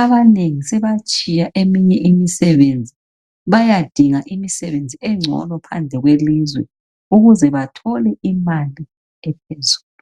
abaengi sebatshiya eminye imisebenzi bayadinga imisebenzi engcono phandle kwelizwe ukuze bathole imali ephezulu